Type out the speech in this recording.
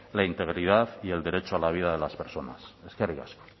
la integridad y el derecho a la vida de las personas eskerrik asko